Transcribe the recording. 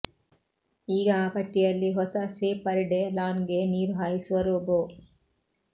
ಈಗ ಆ ಪಟ್ಟಿಯಲ್ಲಿ ಹೊಸ ಸೇಪರ್ಡೆ ಲಾನ್ಗೆ ನೀರು ಹಾಯಿಸುವ ರೋಬೊ